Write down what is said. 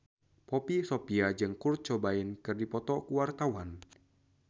Poppy Sovia jeung Kurt Cobain keur dipoto ku wartawan